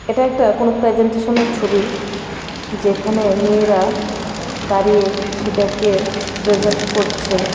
এটা একটা কোন প্রেজেন্টেশন -এর ছবি যেখানে মেয়েরা দাঁড়িয়ে সেটাকে প্রেজেন্ট করছে।